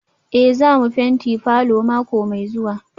Eh za mu fenti falor mako mai zuwa